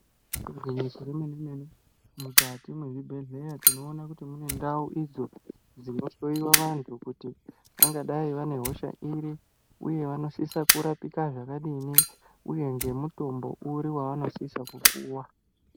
Igwinyiso remenemene mukati mwezvibhehleya tinoona kuti mune ndau idzo dzinohloyiwa vanhu kuti vangadai vane hosha iri ,uye vanosisa kurapika zvakadini, uye ngemutombo uri wavanosisa kupuwa?